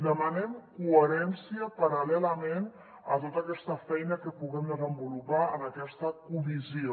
demanem coherència paral·lelament a tota aquesta feina que puguem desenvolupar en aquesta comissió